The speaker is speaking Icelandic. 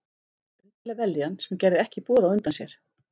Undarleg vellíðan, sem gerði ekki boð á undan sér.